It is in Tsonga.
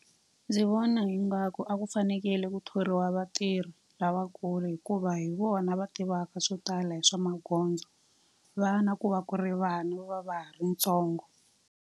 Ndzi vona ingaku a ku fanekele ku thoriwa vatirhi lavakulu hikuva hi vona va tivaka swo tala hi swa magondzo. Vana ku va ku ri vana, va va va ha ri ntsongo.